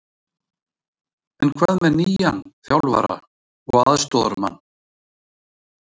En hvað með nýjan þjálfara og aðstoðarmann?